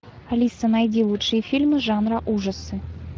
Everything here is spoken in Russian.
алиса найди лучшие фильмы жанра ужасы